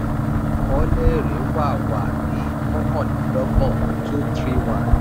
àkọọ́lẹ̀ èrè wà wà ní mọ́kànlélọ́gbọ̀n two hundred and thirty one